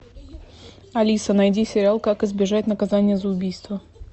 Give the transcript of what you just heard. алиса найди сериал как избежать наказания за убийство